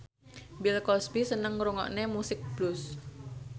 Bill Cosby seneng ngrungokne musik blues